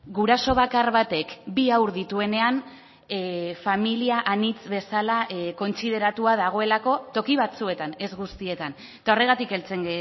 guraso bakar batek bi haur dituenean familia anitz bezala kontsideratua dagoelako toki batzuetan ez guztietan eta horregatik heltzen